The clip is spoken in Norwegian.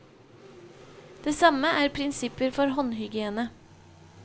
Det samme er prinsipper for håndhygiene.